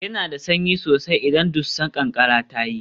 Yana da sanyi sosai idan dusar ƙanƙara ta yi